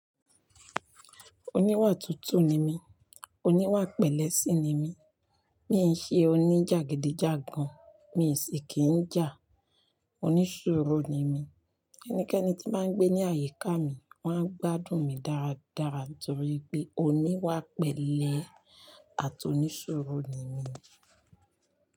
Oníwà tútù ni mí, oníwà pẹlẹ́ sí ni mí, mi n ṣe oní jàgídíjàgan, mi sì kìí jà, onísúurú ni mí. Ẹnikẹ́ni tí ó bá ń gbé ní àyíká mi, wọ́n á gbádùn mi dáradára torí pé oníwà pẹlẹ́ àti onísúurú ni mí.